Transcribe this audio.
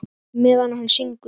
Meðan hann syngur.